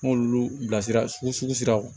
N b'olu bilasira sugu la